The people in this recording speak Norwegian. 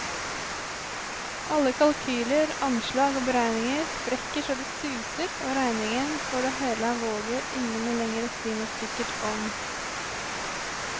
Alle kalkyler, anslag og beregninger sprekker så det suser, og regningen for det hele våger ingen lenger å si noe sikkert om.